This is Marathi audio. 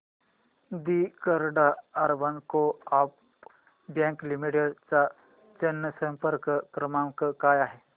दि Karad urban co op bank limited चा जनसंपर्क क्रमांक काय आहे